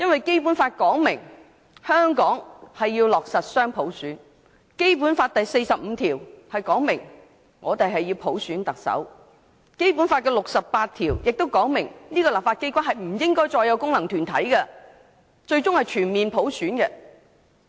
《基本法》訂明，香港要落實雙普選，《基本法》第四十五條訂明，香港行政長官由普選產生，第六十八條也訂明立法機關不應再有功能界別，最終要達致全面普選。